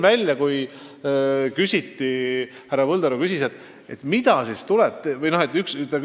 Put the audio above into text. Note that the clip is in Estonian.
Härra Põldaru küsis, mida siis tuleb teha.